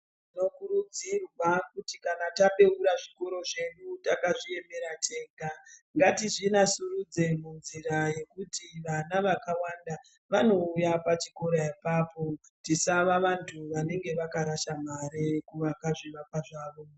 Tinokurudzirwa kuti kana tabeura zvikoro zvedu takazviemera tega ngatizvinasurudze munzira yekuti vana vakawanda vanouya pachikora apapo tisava vantu vanenge vakarasha mare kuvaka zvivakwa zvavo.